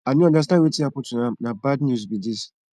i no understand wetin happen to am na bad news be this